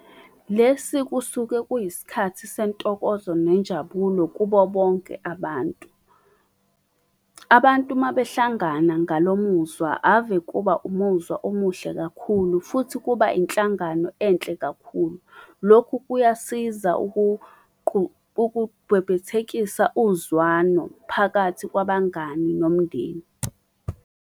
Lesi kusuke kuyisikhathi sentokozo nenjabulo kubo bonke abantu. Abantu uma behlangana ngalo muzwa ave kuba umuzwa omuhle kakhulu futhi kuba inhlangano enhle kakhulu. Lokhu kuyasiza ukubhebhethekisa uzwano phakathi kwabangani nomndeni.